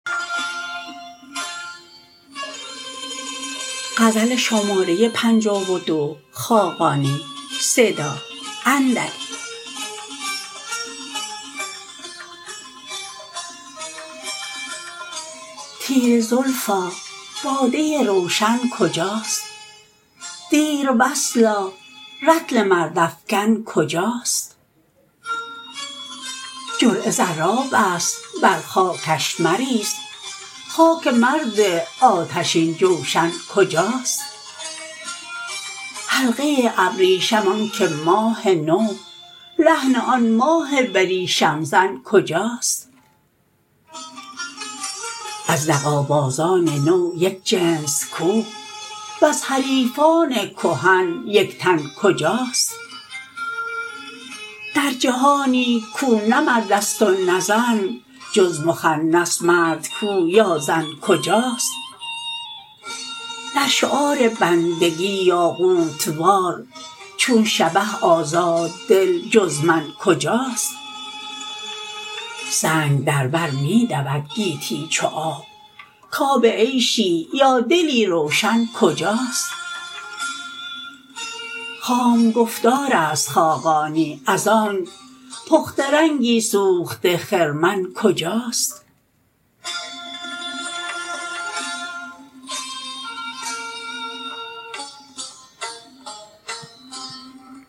تیره زلفا باده روشن کجاست دیروصلا رطل مردافکن کجاست جرعه زراب است بر خاکش مریز خاک مرد آتشین جوشن کجاست حلقه ابریشم آنک ماه نو لحن آن ماه بریشم زن کجاست از دغابازان نو یک جنس کو وز حریفان کهن یک تن کجاست در جهانی کو نه مرد است و نه زن جز مخنث مرد کو یا زن کجاست در شعار بندگی یاقوت وار چون شبه آزاددل جز من کجاست سنگ در بر می دود گیتی چو آب کآب عیشی یا دلی روشن کجاست خام گفتار است خاقانی از آنک پخته رنگی سوخته خرمن کجاست